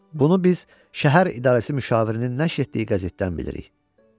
Bunu biz şəhər idarəsi müşavirinin nəşr etdiyi qəzetdən bilirik.